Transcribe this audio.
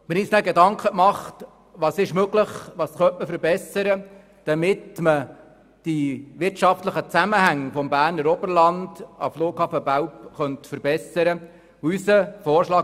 Wir haben uns danach Gedanken darüber gemacht, was möglich ist und was man verbessern könnte, damit die wirtschaftlichen Zusammenhänge vom Berner Oberland zum Flughafen Belp verbessert werden könnten.